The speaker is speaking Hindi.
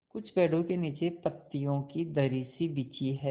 कुछ पेड़ो के नीचे पतियो की दरी सी बिछी है